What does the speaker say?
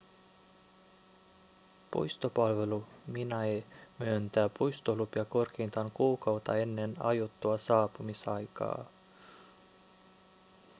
puistopalvelu minae myöntää puistolupia korkeintaan kuukautta ennen aiottua saapumisaikaa